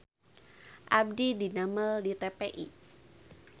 Abdi didamel di TPI